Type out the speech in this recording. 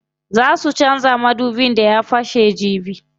Zaa su canza madubin da ya fashe jibi.